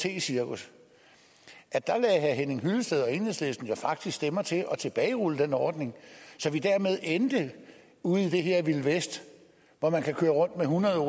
cirkus lagde herre henning hyllested og enhedslisten faktisk stemmer til at tilbagerulle den ordning så vi dermed endte ude i det her vilde vesten hvor man kunne køre rundt med hundrede